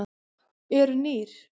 Eru nýr?